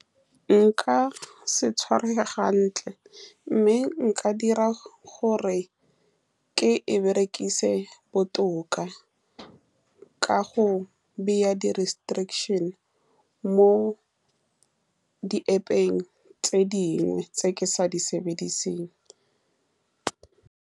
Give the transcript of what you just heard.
Nka se tshwarege ga ntle, mme nka dira gore ke e berekise botoka ka go baya di-restrictions-e mo di-App-peng tse dingwe tse ke sa di sebedisang.